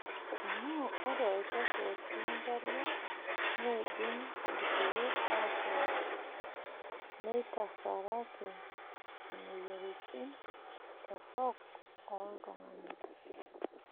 Amu ore olchafu otii nkariak neidim irkiek atok neitarasaki imoyiaritin torok tooltung'ana.